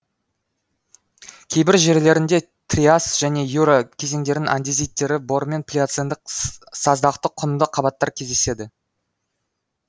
кейбір жерлерінде триас және юра кезеңдерінің андезиттері бор мен плиоцендік саздақты құмды қабаттар кездеседі